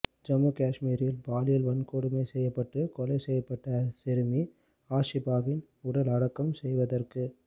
ஜம்மு காஷ்மீரில் பாலியல் வன்கொடுமை செய்யப்பட்டு கொலை செய்யப்பட்ட சிறுமி ஆஷிபாவின் உடலை அடக்கம் செய்வதற்கு